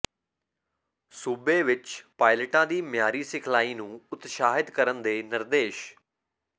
ਸੂਬੇ ਵਿੱਚ ਪਾਇਲਟਾਂ ਦੀ ਮਿਆਰੀ ਸਿਖਲਾਈ ਨੂੰ ਉਤਸ਼ਾਹਤ ਕਰਨ ਦੇ ਨਿਰਦੇਸ਼